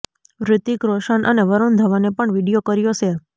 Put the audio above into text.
ઋતિક રોશન અને વરુણ ધવને પણ વીડિયો કર્યો શેર